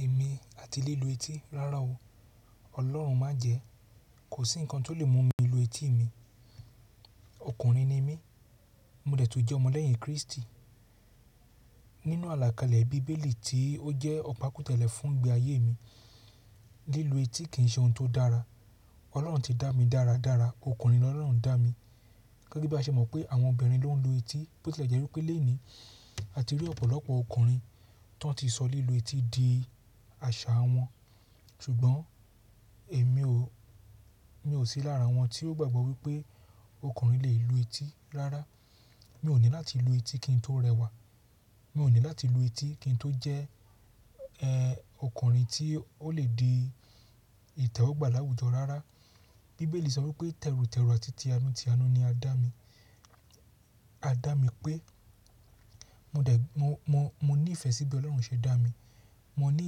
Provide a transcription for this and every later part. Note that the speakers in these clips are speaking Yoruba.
Èmi àti lílu etí, rárá o. Ọlọ́run májẹ̀ẹ́. Kò sí nǹkan tó lè mú mi lu etí mi. Ọkùnrin ni mí, mo dẹ̀ tún jẹ́ ọmọ lẹ́yìn Kristi. Nínú àlàkalẹ̀ bíbélì tí ó jẹ́ ọ̀pá kútẹ̀lẹ̀ fún ìgbe ayé mi, lílu etí kì í ṣe ohun tó dára. Ọlọ́run ti dá mi dára dára. Ọkùnrin lọ́lọ́run dá mi. Gẹ́gẹ́ bí a ṣe mọ̀ pé àwọn obìnrin ló ń lu etí, bó tilẹ̀ jẹ́ wípé léèní a ti rí ọ̀pọ̀lọpọ̀ ọkùnrin tó n ti sọ lílu etí di àṣà wọn, ṣùgbọ́n èmi ò sí lára wọn tí ó gbàgbọ́ wípé ọkùnrin lè lu etí rárá. Mi ò ní láti lu etí kí n tó rẹwà. Mi ò ní láti lu etí kí n tó jẹ́ ọkùnrin tí ó lè di ìtẹ́wọ́gbà láwùjọ rárá. Bíbélì sọ wípé: tẹ̀rù tẹ̀rù àti ti àánú ti àánú ni a dá mi. A dá mi pé mo de mo mo mo ní ìfẹ́ síbí Ọlọ́run ṣe dá mi. Mo ní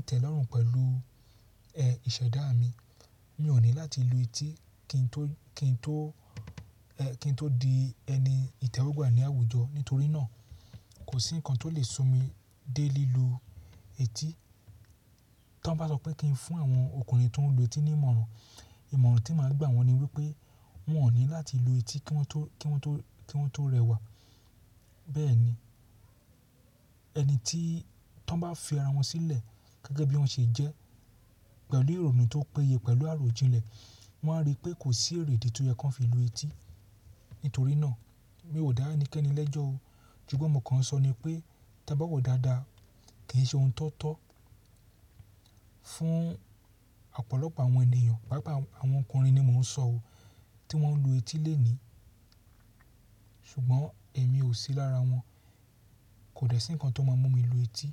ìtẹ́lọ́rùn pẹ̀lú ìṣẹ̀dá mi. Mi ò ní láti lu etí kí n tó di ẹni ìtẹ́wọ́gbà ní àwùjọ. Nítorí náà, kò sí nǹkan tó lè sun mi dé lílu etí. Tọ́n bá sọ pé kí n fún àwọn ọkùnrin tó ń lu etí ní ìmọ̀ràn, ìmọ̀ràn tí màá gbà wọ́n ni wípé wọ́n ò ní láti lu etí ki won to ki won to kí wọ́n tó rẹwà. Bẹ́ẹ̀ ni, ẹni tí tọ́ń bá fi ara wọn sílẹ̀ gẹ́gẹ́ bí wọ́n ṣe jẹ́ pẹ̀lú ìrònú tó péye pẹ̀lú àròjinlẹ̀, wọ́n á rí pé kò sí èrèdí tí ó yẹ kí wọ́n fi lu etí. Nítorí náà, mi ò dá ẹnikẹ́ni lẹ́jọ́ o. Ṣùgbọ́n mòkàn sọ ni pé, tí a bá wọ̀ dáadáa kì í ṣe ohun tó tọ́ fún ọ̀pọ̀lọpọ̀ àwọn ènìyàn. Paápaa àwọn ọkùnrin ni mò ń sọ o, tí wọ́n ń lu etí léèní. Ṣùgbọ́n èmi ò sí lára wọn. Kò dẹ̀ sí nǹkan tó máa mú mi lu etí.